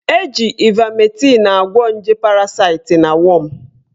Eji ivametịn agwọ nje parasite na wọm